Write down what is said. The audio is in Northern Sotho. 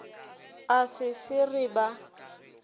a se se re ba